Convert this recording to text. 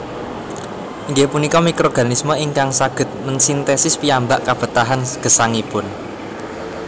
Inggih punika mikroorganisme ingkang saged mensintesis piyambak kabetahan gesangipun